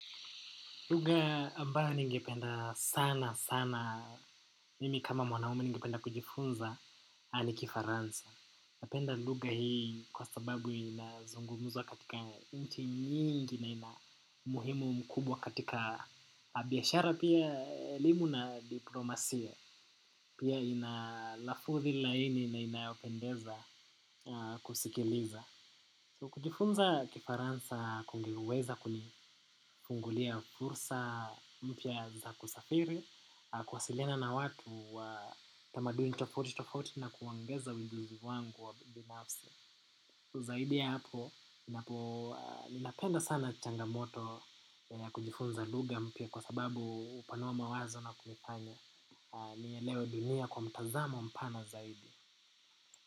Lugha ambayo ningependa sana sana mimi kama mwanaume ningependa kujifunza ni kifaransa. Napenda lugha hii kwa sababu inazungumuzwa katika nchi nyingi na ina umuhimu mkubwa katika biashara pia elimu na diplomasia. Pia inalafudhi laini na inayopendeza kusikiliza. Kujifunza kifaransa kungeweza kunifungulia fursa mpya za kusafiri, kuwasiliana na watu wa tamaduni tofauti tofauti na kuongeza uvinduzi wangu wa binafsi. Zaidi ya hapo, ninapo ninapenda sana changamoto ya kujifunza lugha mpya kwa sababu hupanua mawazo na kunifanya. Nielewe dunia kwa mtazamo mpana zaidi.